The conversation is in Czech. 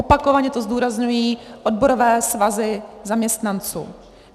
Opakovaně to zdůrazňují odborové svazy zaměstnanců.